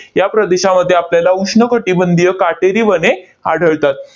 या प्रदेशामध्ये आपल्याला उष्ण कटिबंधीय काटेरी वने आढळतात.